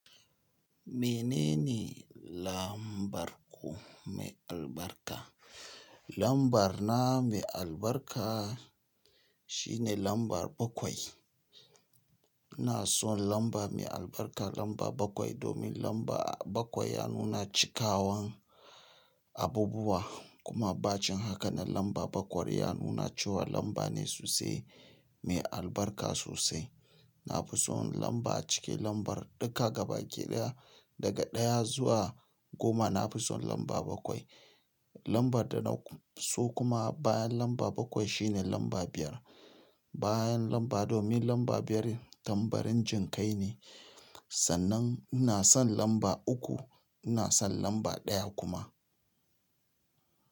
Menene lambar ku mai albarka? Lambar na mai albarka shine lamba bakwai. Na so lamba mai albarka lamba bakwai, domin lamba bakwai ya nuna cikawan abubuwa. Kuma bacin haka lamba bakwai, ya nuna ce wa lamba ne sosai mai albarka sosai. Na fi son lamba a ciki lambar duka gaba ɗaya daga ɗaya zuwa goma. Na fi son lamba bakwai. Lambar da na so kuma bayan lamba bakwai shine lamba biyar. Bayan lamba domin lamba biyar tambarin jinkai ne. Sannan ina son lamba uku, ina son lamba ɗaya kuma.